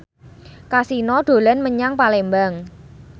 Kasino dolan menyang Palembang